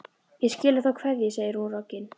Ég skila þá kveðju, segir hún roggin.